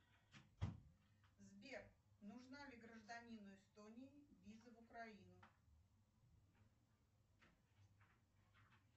сбер нужна ли гражданину эстонии виза в украину